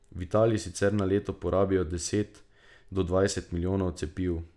V Italiji sicer na leto porabijo deset do dvanajst milijonov cepiv.